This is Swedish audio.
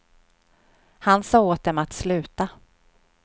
Han sa åt dem att sluta.